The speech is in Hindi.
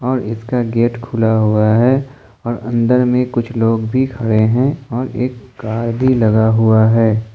मंजिल का गेट खुला हुआ है और अंदर में कुछ लोग भी खड़े हैं और एक गाड़ी कार लगा हुआ है।